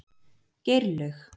Geirlaug